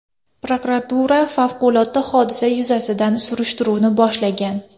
Prokuratura favqulodda hodisa yuzasidan surishtiruvni boshlagan.